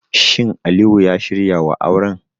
Shin Aliyu ya shirya wa auren?